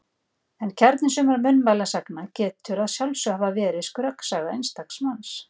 En kjarni sumra munnmælasagna getur að sjálfsögðu hafa verið skröksaga einstaks manns.